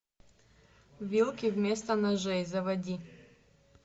вилки вместо ножей заводи